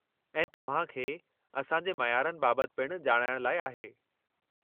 ऐं तव्हां खे असां जे मयारनि बाबति पिणु ॼाणाइण लाइ आहे।